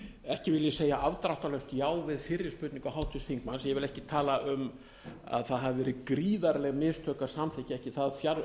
ekki vil ég segja afdráttarlaust já við fyrri spurningu háttvirts þingmanns ég vil ekki tala um að það hafi verið gríðarleg mistök að samþykkja ekki það